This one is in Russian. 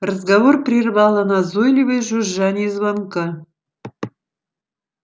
разговор прервало назойливое жужжание звонка